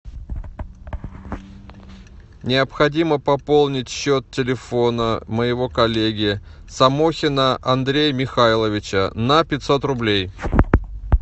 необходимо пополнить счет телефона моего коллеги самохина андрея михайловича на пятьсот рублей